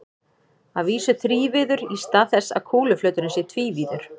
Að vísu þrívíður í stað þess að kúluflöturinn sé tvívíður.